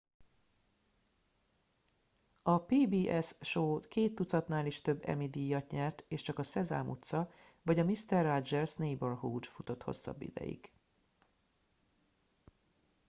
a pbs show két tucatnál is több emmy díjat nyert és csak a szezám utca vagy a mister rogers' neighborhood futott hosszabb ideig